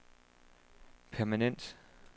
permanent